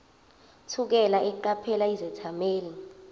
thukela eqaphela izethameli